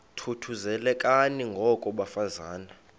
thuthuzelekani ngoko bafazana